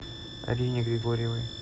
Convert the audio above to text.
арине григорьевой